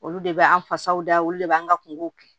Olu de bɛ an fasaw da olu le b'an ka kungow kɛ